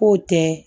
K'o tɛ